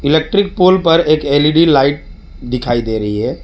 Electric pole पर एक L E D light दिखाई दे रही है।